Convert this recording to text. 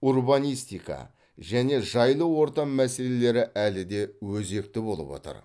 урбанистика және жайлы орта мәселелері әлі де өзекті болып отыр